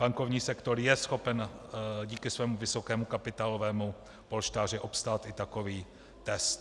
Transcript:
Bankovní sektor je schopen díky svému vysokému kapitálovému polštáři obstát i takový test.